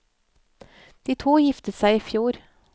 De to giftet seg i fjor.